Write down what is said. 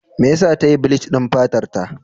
Me yasa ta yi bleach din fatarta?